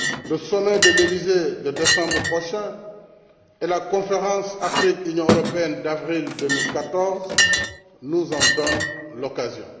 Le sommet de l'Élysée de décembre prochain et la conférence Afrique Union européenne d'avril 2014 nous en donnent l'occasion.